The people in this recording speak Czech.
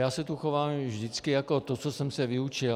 Já se tu chovám vždycky jako to, co jsem se vyučil.